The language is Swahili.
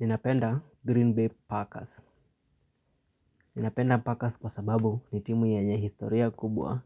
Ninapenda Green Bay Packers. Ninapenda Packers kwa sababu ni timu yenye historia kubwa